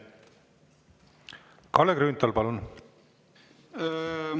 Kalle Grünthal, palun!